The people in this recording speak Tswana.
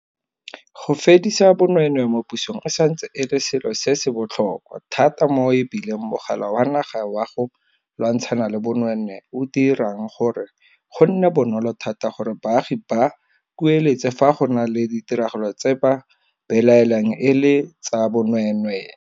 Go fedisa bonweenwee mo pusong e santse e le selo se se botlhokwa thata mo e bile Mogala wa Naga wa go Lwantshana le Bonweenwee o dirang gore go nne bonolo thata gore baagi ba kueletse fa go na le ditiragalo tse ba belaelang e e tsa bonweenwee.